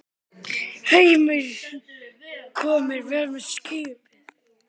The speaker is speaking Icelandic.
Heimir: Komnir vel með í skipið?